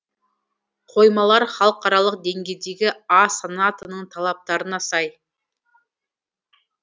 қоймалар халықаралық деңгейдегі а санатының талаптарына сай